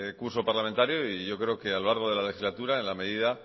curso parlamentario y yo creo que a lo largo de la legislatura en la medida